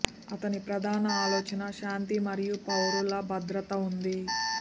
అతని ప్రధాన ఆలోచన శాంతి మరియు పౌరుల భద్రత ఉంది